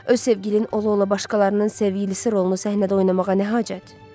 Öz sevgilin ola-ola başqalarının sevgilisi rolunu səhnədə oynamağa nə hacət?